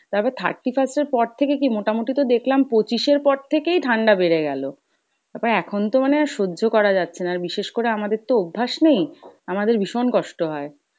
তারপর thirty first এর পর থেকে কী মোটামোটি তো দেখলাম পঁচিশের পর থেকেই ঠাণ্ডা বেড়ে গেলো, তারপর এখন তো মানে আর সহ্য করা যাচ্ছে না, আর বিশেষ করে আমাদের তো অভ্যাস নেই, আমাদের ভীষণ কষ্ট হয়।